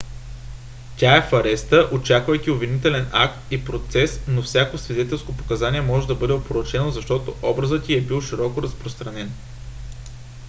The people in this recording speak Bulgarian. тя е в ареста очаквайки обвинителен акт и процес но всяко свидетелско показание може да бъде опорочено защото образът й е бил широко разпространен